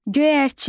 Göyərçin.